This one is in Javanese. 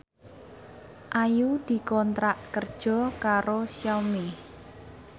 Ayu dikontrak kerja karo Xiaomi